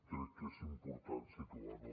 crec que és important situar ho